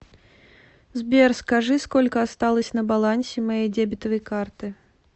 сбер скажи сколько осталось на балансе моей дебетовой карты